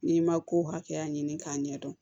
N'i ma ko hakɛya ɲini k'a ɲɛdɔn